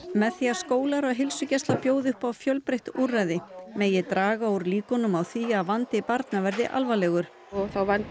með því að skólar og heilsugæsla bjóði upp á fjölbreytt úrræði megi draga úr líkunum úr því að vandi barna verði alvarlegur og þá vandi